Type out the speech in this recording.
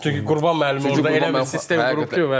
Çünki Qurban müəllim orda elə bir sistem qurub ki,